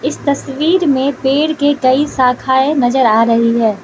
इस तस्वीर में पेड़ के कई शाखाएं नजर आ रही है।